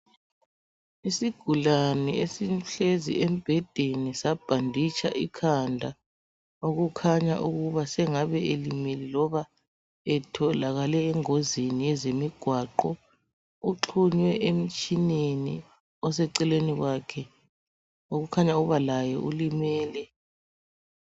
Isigulane esihlezi embhedeni sabhanditsha ikhanda okukhanya ukuba sengabe elimele loba etholakale engozini yezemigwaqo uxhunywe emtshineni oseceleni kwakhe okukhanya ukuba laye ulimele.